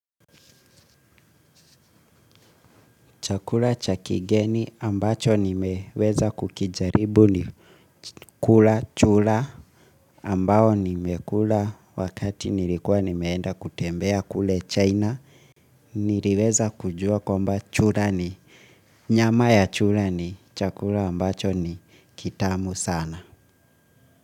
Chakula cha kigeni ambacho nimeweza kukijaribu ni kula chura ambao nimekula wakati nilikuwa nimeenda kutembea kule China. Niliweza kujua kwamba chura ni nyama ya chura ni chakula ambacho ni kitamu sana.